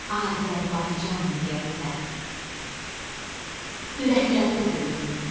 Azərbaycan deyəndə, ürəklərdə döyünüm.